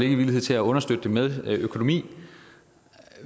ikke villighed til at understøtte det med økonomi